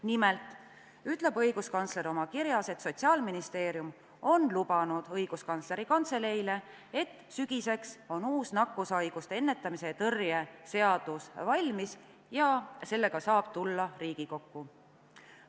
Nimelt ütles õiguskantsler oma kirjas, et Sotsiaalministeerium on lubanud Õiguskantsleri Kantseleile, et sügiseks on uus nakkushaiguste ennetamise ja tõrje seadus valmis ja sellega saab tulla Riigikokku.